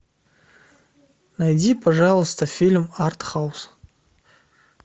найди пожалуйста фильм артхаус